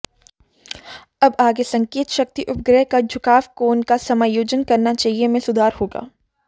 अब आगे संकेत शक्ति उपग्रह का झुकाव कोण का समायोजन करना चाहिए में सुधार होगा